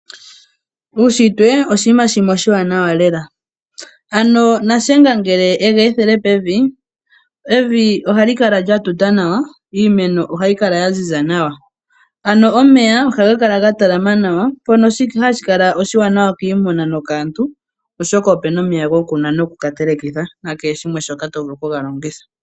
Uushitwe owo iinima iiwanawa lela ano Shiyenga ngele shega ethela pevi evi ohali kala lyatalala nawa iimeno ohayi kala ya ziza nawa omeya ohaga kala ga talala nawa shono hashi kala oshiwanawa oshoka opena omeya omeya gokunwa nokuteleka naashoka wa hala okuga longitha.